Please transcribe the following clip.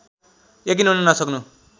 यकिन हुन नसक्नु